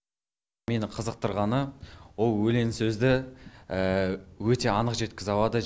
мені қызықтырғаны ол өлең сөзді өте анық жеткізе алады